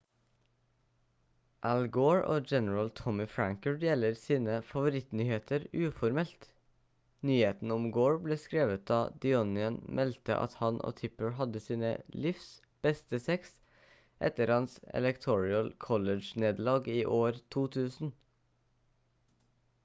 al gore og general tommy franker deler seg sine favorittnyheter uformelt nyheten om gore ble skrevet da the onion meldte at han og tipper hadde sine livs beste sex etter hans electoral college-nederlag i år 2000